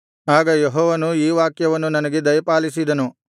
ಆಗ ಯೆಹೋವನು ಈ ವಾಕ್ಯವನ್ನು ನನಗೆ ದಯಪಾಲಿಸಿದನು